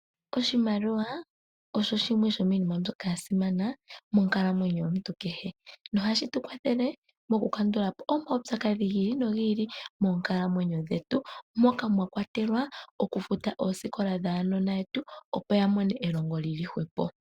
Oshimaliwa osho shimwe shomiinima mbyoka ya simana monkalamwenyo yomuntu kehe nohashi tu kwathele mokukandula po omawupyakadhi gi ili nogi ili moonkalamwenyo dhetu, moka mwa kwatelwa okufuta oosikola dhaanona yetu, opo ya mone elongo li li hwepo.